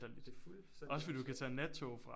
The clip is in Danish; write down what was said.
Det fuldstændig absurd